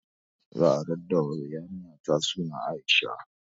Za a raɗa wa yarinyata suna Aisha